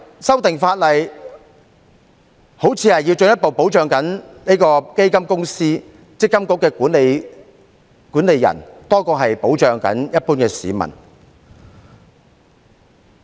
修訂法例好像是進一步保障基金公司、積金局管理人多於一般市民。